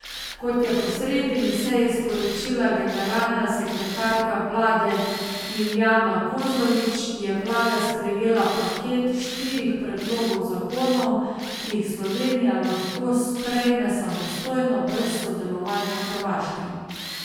Kot je po sredini seji sporočila generalna sekretarka vlade Lilijana Kozlovič, je vlada sprejela paket štirih predlogov zakonov, ki jih Slovenija lahko sprejme samostojno, brez sodelovanja Hrvaške.